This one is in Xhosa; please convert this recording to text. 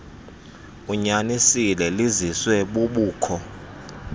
unyanisile liziswe bubukho